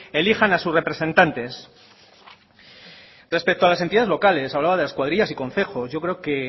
elijan a sus representantes respecto a las entidades locales hablaba de las cuadrillas y concejos yo creo que